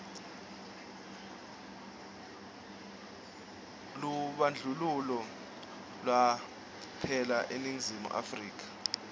lubandlululo lwaphela eningizimu afrika